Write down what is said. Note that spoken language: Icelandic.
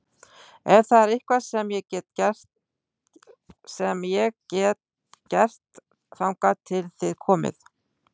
Ef það er eitthvað sem ég get gert þangað til þið komið